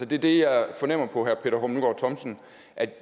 det er det jeg fornemmer på herre peter hummelgaard thomsen